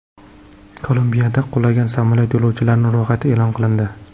Kolumbiyada qulagan samolyot yo‘lovchilari ro‘yxati e’lon qilindi.